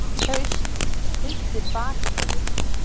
haust, prýddi baksviðið.